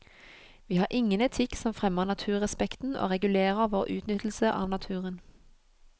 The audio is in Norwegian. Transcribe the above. Vi har ingen etikk som fremmer naturrespekten og regulerer vår utnyttelse av naturen.